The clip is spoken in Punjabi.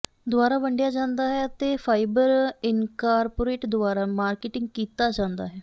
ਦੁਆਰਾ ਵੰਡਿਆ ਜਾਂਦਾ ਹੈ ਅਤੇ ਫਾਈਜ਼ਰ ਇਨਕਾਰਪੋਰੇਟ ਦੁਆਰਾ ਮਾਰਕੀਟਿੰਗ ਕੀਤਾ ਜਾਂਦਾ ਹੈ